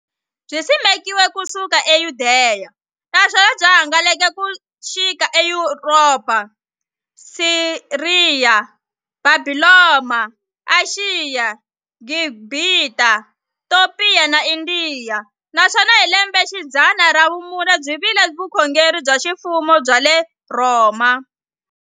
Byisimekiwe ku suka e Yudeya, naswona byi hangalake ku xika e Yuropa, Siriya, Bhabhilona, Ashiya, Gibhita, Topiya na Indiya, naswona hi lembexidzana ra vumune byi vile vukhongeri bya ximfumo bya le Rhoma.